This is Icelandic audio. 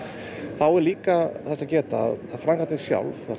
þá er líka þess að geta að framkvæmdin sjálf